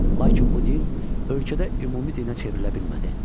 Lakin bu din ölkədə ümumi dinə çevrilə bilmədi.